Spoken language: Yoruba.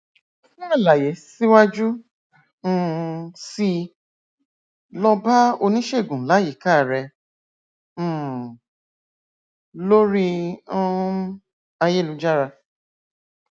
fún àlàyé síwájú um síi lọ bá oníṣègùn láyíká rẹ um lórí um ayélujára